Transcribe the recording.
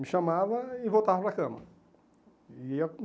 Me chamava e voltava para a cama.